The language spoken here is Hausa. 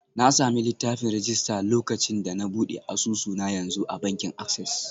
Na sami littafin rajista lokacin da na buɗe asusu na yanzu a bankin Access.